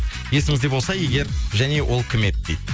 есіңізде болса егер және ол кім еді дейді